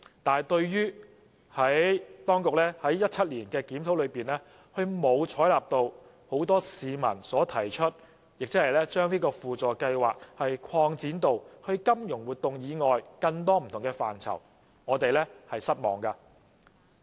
但是，對於當局在2017年的檢討中，並沒有採納市民提出的建議，把輔助計劃擴展至金融活動以外的不同範疇，我們表示失望。